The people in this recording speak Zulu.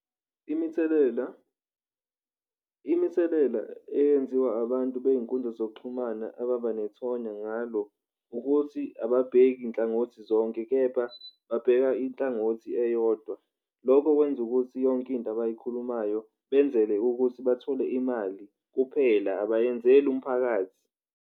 Imithelela imithelela eyenziwa abantu bey'nkundla yezokuxhumana ababanethonya ngalo ukuthi ababheki nhlangothi zonke kepha babheka inhlangothi eyodwa, lokho kwenza ukuthi yonke into abayikhulumayo benzele ukuthi bathole imali kuphela abayenzeli umphakathi.